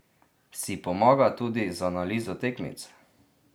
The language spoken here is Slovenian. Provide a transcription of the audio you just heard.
Si pomaga tudi z analizo tekmic?